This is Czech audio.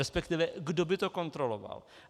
Respektive kdo by to kontroloval?